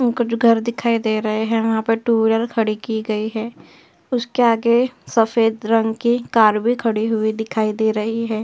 घर दिखाई दे रहे हैं। वहां पर टू व्हीलर खड़ी की गई है। उसके आगे सफेद रंग की कार भी खड़ी हुई दिखाई दे रही है।